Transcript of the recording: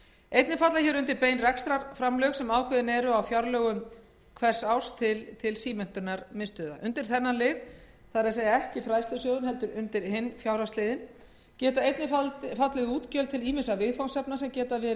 einnig falla hér undir bein rekstrarframlög sem ákveðin eru á fjárlögum ár hvert til símenntunarmiðstöðva undir þennan lið geta einnig fallið útgjöld til ýmissa viðfangsefna sem geta